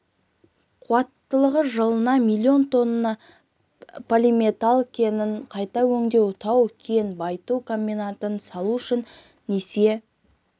қуаттылығы жылына миллион тонна полиметалл кендерін қайта өңдейтін жаңа тау-кен байыту комбинатын салу үшін несие